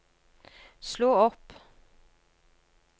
slå opp